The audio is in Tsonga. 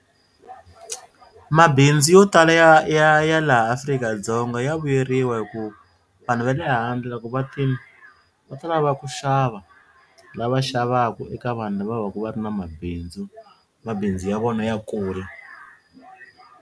Mabindzu yo tala ya ya ya laha Afrika -Dzonga ya vuyeriwa hi ku vanhu va le handle loko va tini va ta lava ku xava lava xavaka eka vanhu lava vaku va ri na mabindzu mabindzu ya vona ya kula.